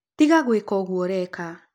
Tĩga gũĩka ũgũo ũreka